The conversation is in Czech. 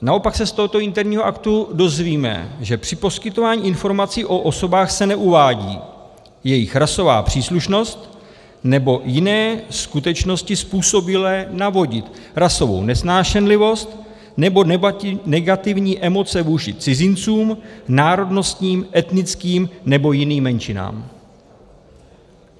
Naopak se z tohoto interního aktu dozvíme, že při poskytování informací o osobách se neuvádí jejich rasová příslušnost nebo jiné skutečnosti způsobilé navodit rasovou nesnášenlivost nebo negativní emoce vůči cizincům, národnostním, etnickým nebo jiným menšinám.